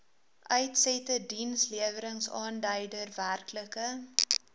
uitsette diensleweringaanduider werklike